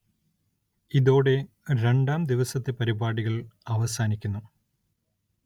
ഇതോടെ രണ്ടാം ദിവസത്തെ പരിപാടികള്‍ അവസാനിക്കുന്നു